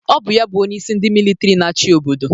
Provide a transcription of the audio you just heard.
Ọ bụ ya bụ onyeisi ndị militri na-achị obodo